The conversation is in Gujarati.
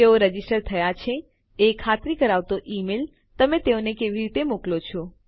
તેઓ રજીસ્ટર થયા છે એ ખાતરી કરાવતો ઈમેલ તમે તેઓને કેવી રીતે મોકલો છો